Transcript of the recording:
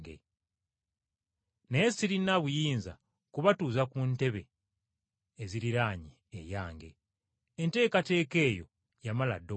Naye sirina buyinza kubatuuza ku ntebe eziriraanye eyange. Enteekateeka eyo yamala dda okukolebwa.”